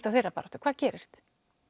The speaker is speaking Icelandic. á þeirra baráttu hvað gerist